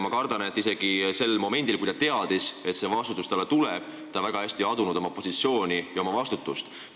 Ma kardan, et isegi sel momendil, kui ta teadis, et see vastutus talle tuleb, ta väga hästi ei adunud oma positsiooni ega vastutust.